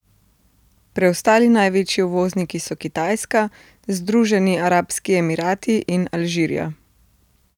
Preostali največji uvozniki so Kitajska, Združeni arabski emirati in Alžirija.